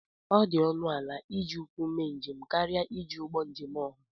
ọ dị ọnụ ala iji ụkwụ mee njem karịa iji ụgbọ njem ọha